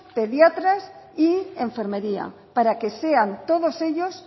pediatras y enfermería para que sean todos ellos